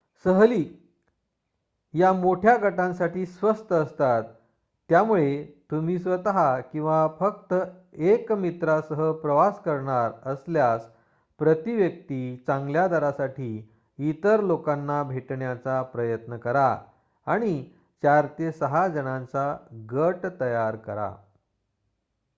सहली या मोठ्या गटांसाठी स्वस्त असतात त्यामुळे तुम्ही स्वत किंवा फक्त 1 मित्रासह प्रवास करणार असल्यास प्रती-व्यक्ती चांगल्या दरासाठी इतर लोकांना भेटण्याचा प्रयत्न करा आणि 4 ते 6 जणांचा गट तयार करा